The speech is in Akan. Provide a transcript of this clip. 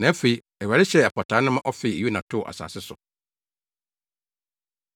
Na afei, Awurade hyɛɛ apataa no ma ɔfee Yona too asase so.